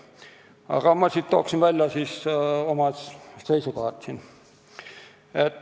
Aga ma toon siis ära oma seisukohad.